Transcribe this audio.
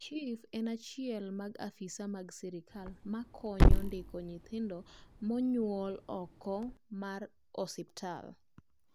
chif en achiel mag afisa mag sirkal ma konyo ndiko nyothindo monyuol ok mar osiptal